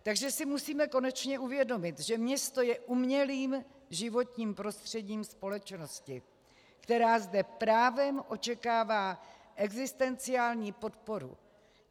Takže si musíme konečně uvědomit, že město je umělým životním prostředím společnosti, která zde právem očekává existenciální podporu.